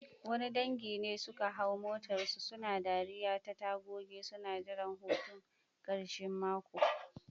Wani dangi ne suka hau motarsu, suna dariya ta tagogi, suna jiran hutun karshen mako.